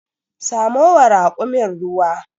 Samo wa rakumin ruwa.